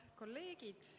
Head kolleegid!